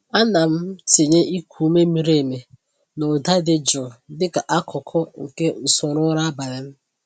Ana m tinye iku ume miri emi na ụda dị jụụ dịka akụkụ nke usoro ụra abalị m.